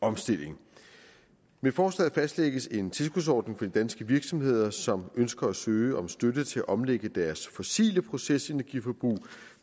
omstilling med forslaget fastlægges en tilskudsordning for de danske virksomheder som ønsker at søge om støtte til at omlægge deres fossile procesenergiforbrug